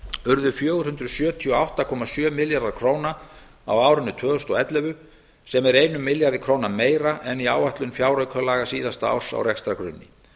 urðu fjögur hundruð sjötíu og átta komma sjö milljarðar króna á árinu sem er einum milljarði króna meira en í áætlun fjáraukalaga síðasta árs á rekstrargrunni